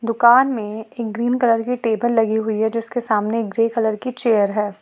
दुकान में एक ग्रीन कलर टेबल लगी हुई हैं जिसके सामने एक ग्रे कलर की चेयर है।